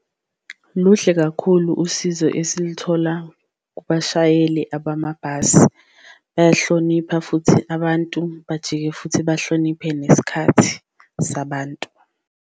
Luhle kakhulu usizo esilithola kubashayeli abamabhasi bayahlonipha futhi abantu, bajike futhi bahloniphe nesikhathi sabantu.